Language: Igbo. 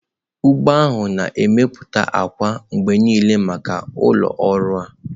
ugbo ahụ na-emepụta akwa mgbe niile maka ụlọ ọrụ a.